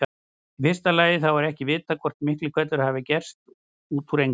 Í fyrsta lagi þá er ekki vitað hvort Miklihvellur hafi gerst út úr engu.